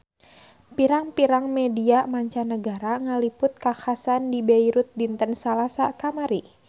Pirang-pirang media mancanagara ngaliput kakhasan di Beirut dinten Salasa kamari